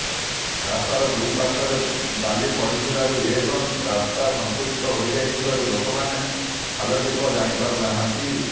ରାସ୍ତାର ଦୁଇ ପାଶ୍ୱର୍ରେ ବାଲିପଡିଥିବାରୁ ଏବଂ ରାସ୍ତା ସଂକୁଚିତ ହୋଇଯାଇଥିବାରୁ ଲୋକମାନେ ଖାଲଢିପ ଜାଣିପାରୁନାହାଁନ୍ତି